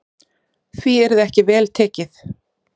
Því yrði ekki vel tekið.